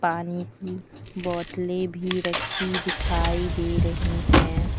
पानी की बोतले भी राखी दिखाई दे रही हैं।